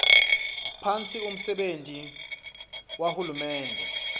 phasi umsebenti wahulumende